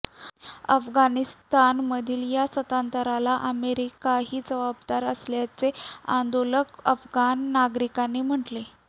अफगाणिस्तानमधील या सत्तांतराला अमेरिकाही जबाबदार असल्याचे आंदोलक अफगाण नागरिकांनी म्हटले